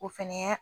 O fɛnɛ